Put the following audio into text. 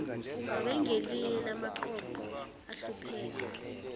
babengelinye lamaqoqo ahlupheka